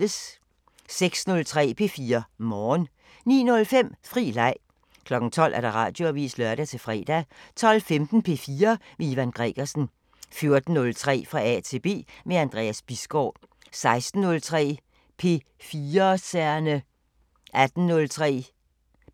06:03: P4 Morgen 09:05: Fri Leg 12:00: Radioavisen (lør-fre) 12:15: P4 med Ivan Gregersen 14:03: Fra A til B – med Anders Bisgaard 16:03: P4'serne 18:03: